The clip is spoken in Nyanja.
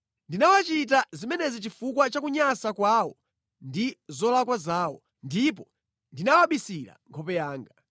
Ndinawachita zimenezi chifukwa cha kunyansa kwawo ndi zolakwa zawo, ndipo ndinawabisira nkhope yanga.